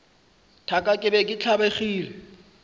thaka ke be ke tlabegile